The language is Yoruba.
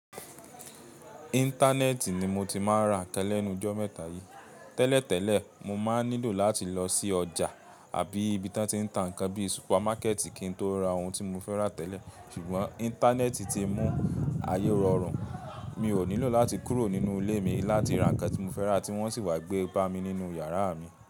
Íńtánẹ́ẹ̀tì ni mo ti máa ń ra lẹ́nu jọ mẹ́ta yí. Tẹ́lẹ̀ tẹ́lẹ̀, mo máa ń nílò láti lọ sí ọjà àbí ibi tí wọ́n tí ń ta nǹkan bíi súpámákẹ̀tì kí n tó ra ohun tí mo fẹ́ rà tẹ́lẹ̀. Ṣùgbọ́n Íńtánẹ́ẹ̀tì ti mú ayé rọrùn. Mi ò nílò láti kúrò nínú ilé mi láti ra nǹkan tí mo fẹ́ rà àti wọ́n sì wá gbé bá mi nínú yàrá mi.